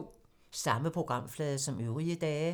Samme programflade som øvrige dage